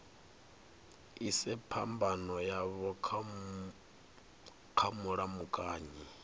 ise phambano yavho kha mulamukanyi